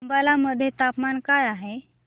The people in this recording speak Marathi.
अंबाला मध्ये तापमान काय आहे